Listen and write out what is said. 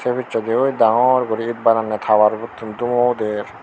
te pisedi oy dangor gori baranda tower butun dumo uder.